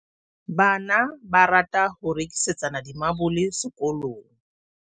bana ba rata ho rekisetsana dimabole sekolong